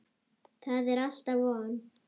Það er alltaf von.